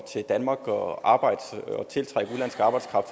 til danmark og arbejde